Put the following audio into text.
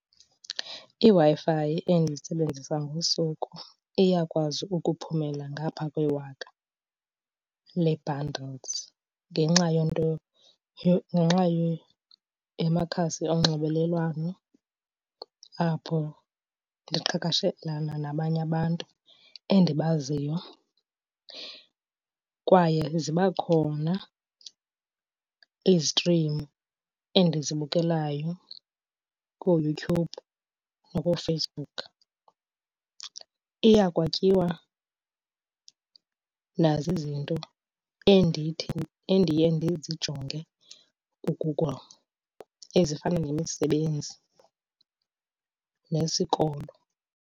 IWi-Fi endiyisebenzisayo ngosuku iyakwazi ukuphumela ngapha kwewaka lee-bundles ngenxa yento , ngenxa yamakhasi onxibelelwano apho ndiqhagamshelana nabanye abantu endibaziyo. Kwaye ziba khona izitrimu endizibukelayo kooYouTube nakoFacebook. Iyakwatyiwa nazizinto endithi, endiye ndizijonge kuGoogle ezifana nemisebenzi nesikolo.